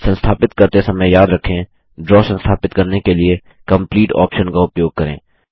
संस्थापित करते समय याद रखें द्रव संस्थापित करने के लिए कंप्लीट आप्शन का उपयोग करें